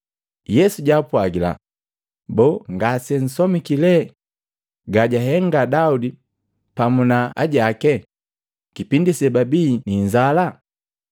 Yesu jaapwagila, “Boo ngasemsomiki lee gajahenga Daudi pamu na ajaki kipindi sebabii ni inzala?